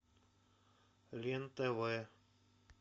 лен тв